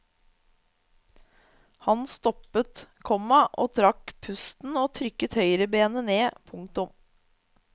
Han stoppet, komma trakk pusten og trykket høyrebeinet ned. punktum